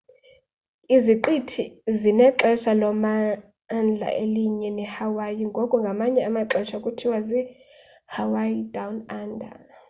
iziqithi zinexesha lommandla elinye nehawaii ngoko ngamanye amaxesha kuthiwa zi- hawaii down under